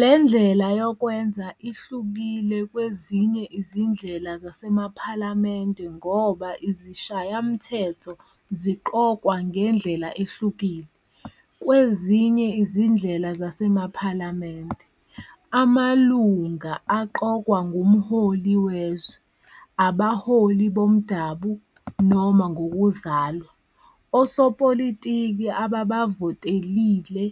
Le ndlela yokwenza ihlukile kwezinye izindlela zasemaphalamende ngoba izishayamthetho ziqokwa ngendlela ehlukile. Kwezinye izindlela zasemaphalamende, amalunga aqokwa ngumholi wezwe, abaholi bomdabu, noma ngokuzalwa. Osopolitiki ababavotelile